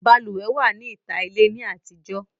Balùwẹ̀ wà ní ìta ilé ní àtijọ́